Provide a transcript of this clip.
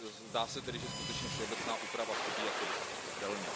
Zdá se tedy, že skutečně všeobecná úprava chybí a dost silně.